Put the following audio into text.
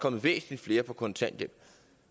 kommet væsentlig flere på kontanthjælp